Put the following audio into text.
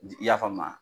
I y'a faamu